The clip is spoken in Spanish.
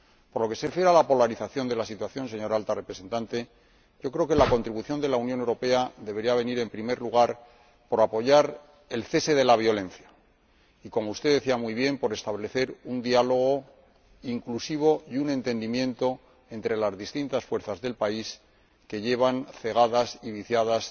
Por lo que se refiere a la polarización de la situación, señora Alta Representante, yo creo que la contribución de la Unión Europea debería pasar, en primer lugar, por apoyar el cese de la violencia y, como usted decía muy bien, por establecer un diálogo inclusivo y un entendimiento entre las distintas fuerzas del país, cegadas y viciadas